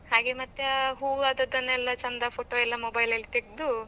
ಹಾಗೆ ಮತ್ ಆ ಹೂ ಆದದೆನೆಲ್ಲ ಚೆಂದ photo ಎಲ್ಲಾmobile ಅಲ್ ತೆಗ್ದು.